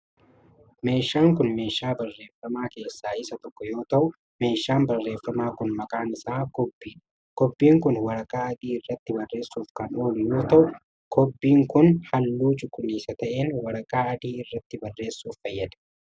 Meeshaan kun, meeshaa barreeffamaa keessaa isa tokko yoo ta'u, meeshaan barreeffamaa kun maqaan isaa kobbii dha. Kobbiin kun waraqaa adii irratti barreessuuf kan oolu yoo ta'u, kubbiin kun haalluu cuquliisa ta'een waraqaa adii irratti barreessuuf fayyada.